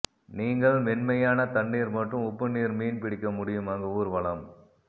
நீங்கள் மென்மையான தண்ணீர் மற்றும் உப்பு நீர் மீன் பிடிக்க முடியும் அங்கு ஊர்வலம்